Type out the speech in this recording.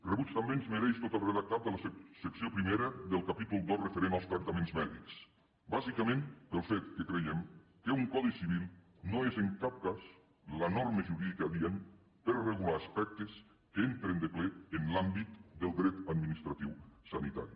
rebuig també ens mereix tot el redactat de la secció primera del capítol ii referent als tractament mèdics bàsicament pel fet que creiem que un codi civil no és en cap cas la norma jurídica adient per a regular aspectes que entren de ple en l’àmbit del dret administratiu sanitari